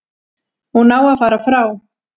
Hún á að fara frá.